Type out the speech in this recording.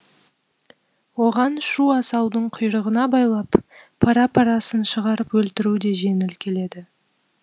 оған шу асаудың құйрығына байлап пара парасын шығарып өлтіру де жеңіл келеді